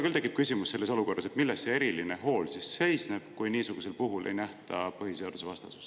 Mul küll tekib selles olukorras küsimus, milles see eriline hool siis seisneb, kui niisugusel puhul ei nähta põhiseadusvastasust.